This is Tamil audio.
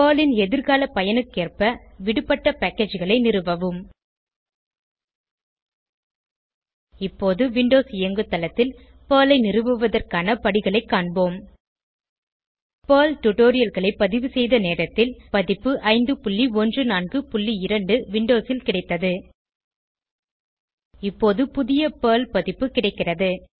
பெர்ல் ன் எதிர்கால பயனுக்கேற்ப விடுபட்ட packageகளை நிறுவவும் இப்போது விண்டோஸ் இயங்குதளத்தில் PERLஐ நிறுவுவதற்கான படிகளை காண்போம் பெர்ல் டுடோரியல்களை பதிவுசெய்த நேரத்தில் பதிப்பு 5142 விண்டோஸில் கிடைத்தது இப்போது புதிய பெர்ல் பதிப்பு கிடைக்கிறது